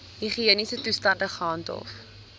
higiëniese toestande gehandhaaf